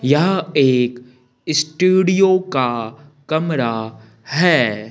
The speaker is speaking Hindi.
यह एक स्टूडियो का कमरा है।